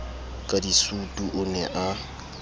ka disutu o ne a